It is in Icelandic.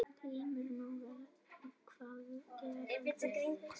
GRÍMUR: Nú, hvað gerðu þeir?